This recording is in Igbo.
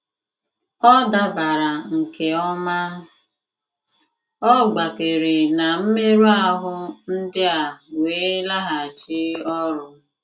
Ọ dabara nke ọma, ọ gbakere na mmerụ ahụ ndị a wee laghachi ọrụ.